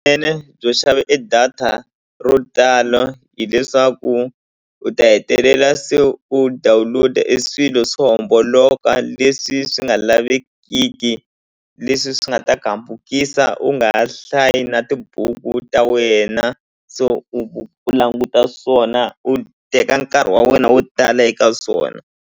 byo xava e data ro tala hileswaku u ta hetelela se u download-a e swilo swo homboloka leswi swi nga lavekiki leswi swi nga ta ku hambukisa u nga hlayi na tibuku ta wena so u u languta swona u teka nkarhi wa wena wo tala eka swona.